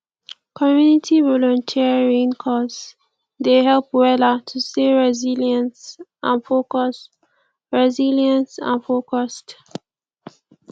community volunteering cause dey help wella to stay resilience and focused resilience and focused